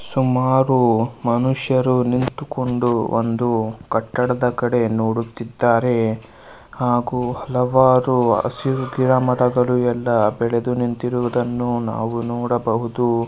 ಸುಮಾರು ಮನುಷ್ಯರು ನಿಂತುಕೊಂಡು ಒಂದು ಕಟ್ಟಡದ ಕಡೆ ನೋಡುತ್ತಿದಾರೆ ಹಾಗು ಹಲವಾರು ಹಸಿರು ಗಿಡ ಮರಗಳು ಎಲ್ಲಾ ಬೆಳೆದು ನಿಂತಿರುವದನ್ನು ನಾವು ನೋಡಬಹುದು.